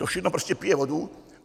To všechno prostě pije vodu.